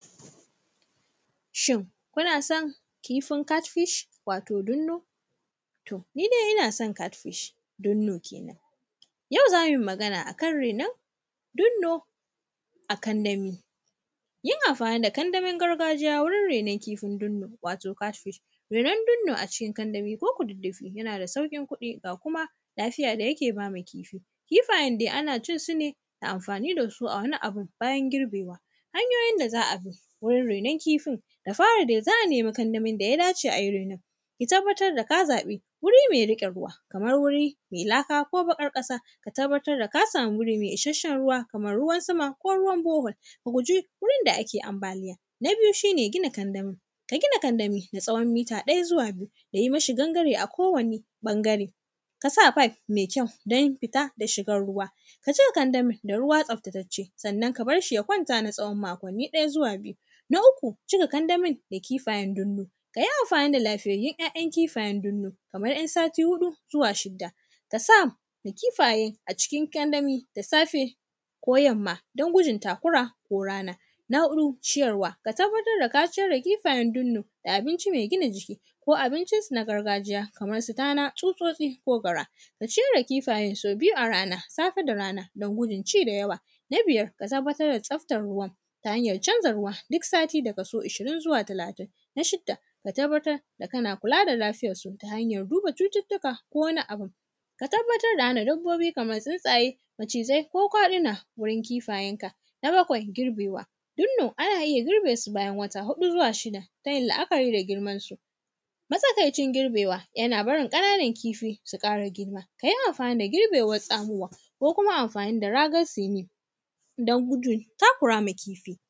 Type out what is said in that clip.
Shin, kuna son kifin “Cat fish”, wato dunno? Ni dai ina son “cat fish” dunno kenan. Yau za mi magana a kan renon dunno a kandami. Yin amfani da kandamin gargajiya wurin renon kifin dunno, wato “cat fish”, renon dunno a cikin kandami ko kududdufi, yana da sauƙin kuɗi, ga kuma lafiya da yake ba ma kifi. Kifayen de, ana cin su ne da amfani da su a wani abun bayan girbewa. Hanyoyin da za a bi, wurin renon kifin, da fari de za a nemi kandamin da ya dace a yi renon. Ki tabbatar da ka zaƃi wuri me riƙe ruwa, kamar wuri me laka ko baƙar ƙasa. Ka tabbatar da ka sami wuri me ishasshen ruwa, kamar ruwan sama ko ruwan bohol. Ka guji, wurin da ake ambaliya. Na biyu, shi ne gina kandami, ka gina kandami da tsawon mita ɗaya zuwa biyu da yi mishi gangare a kowani ƃangare. Ka sa fayif me kyau, don fita da shigar ruwa. Ka cika kandamin da ruwa tsaftatacce, sanna ka bar shi ya kwanta na tsawon makonni ɗaya zuwa biyu. Na uku, cika kandamin da kifayen dunno, ka yi amfani da lafiyayyun ‘ya’yan kifayen dunnu. Kamra “yan sati huɗu zuwa shidda. Ka sa ma kifaye a cikin kandami da safe ko yamma, don gudun takura ko rana. Na huɗu, ciyarwa, ka tabbatar da ka ciyar da kifayen dunnu da abinci me gina jiki ko abincinsu na gargajiya, kamar su tana, tsutsotsi ko gara. Ka ciyar da kifayen so biyu a rana, safe da brana, don gudun ci da yawa. Na biyar, ka tabbatar da tsaftar ruwan, ta hanyar canza ruwa dik sati da kaso ishirin zuwa talatin. Na shida, ka tabbatar da kana kula da lafiyarsu ta hanyar duba cutittika ko wani abun.. Ka tababtar da hana dabbobi kamar tsintsaye, macizai ko kwaɗina wurin kifayenka. Na bakwai, girbewa, dunno, ana iya girbe su bayan wata huɗu zuwa shida ta yin la’akari da girmansu. Matsakaicin girbewa, yana barin ƙananan kifi, su ƙara girma. Ka yi amfani da girbewan tsamowa ko kuma amfani da ragar “sini”, don gudun takura ma kifi.